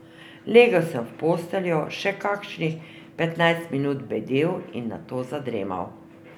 Legel sem v posteljo, še kakšnih petnajst minut bedel in nato zadremal.